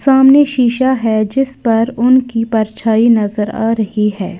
सामने शीशा है जिस पर उनकी परछाई नजर आ रही है।